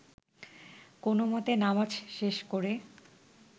কোনোমতে নামাজ শেষ করে